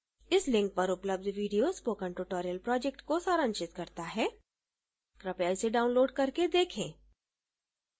इस link पर उपलब्ध video spoken tutorial project को सारांशित करता है कृपया इसे download करके देखें